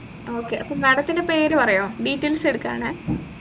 okay അപ്പൊ madam ന്റെ പേര് പറയുവോ details എടുകാണെ